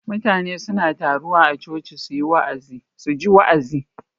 Mutane suna taruwa a choci suji wa'azi